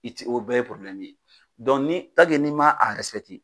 I ti o bɛɛ ye ye ni n'i ma a .